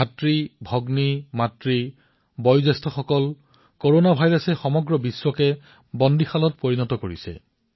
ভাতৃ আৰু ভগ্নীসকল মাতৃ তথা জ্যেষ্ঠসকল কৰনা ভাইৰাছে আজি সমগ্ৰ বিশ্বকে কাৰাগাৰলৈ পৰ্যবসিত কৰিছে